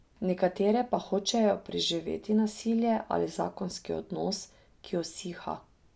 Nekatere pa hočejo preživeti nasilje ali zakonski odnos, ki usiha.